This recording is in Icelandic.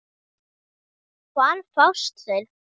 Hvar fást þeir?